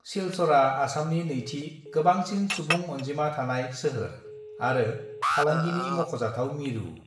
सिलचरआ आसामनि नैथि गोबांसिन सुबुं अनजिमा थानाय सोहोर आरो फालांगिनि मख'जाथाव मिरु।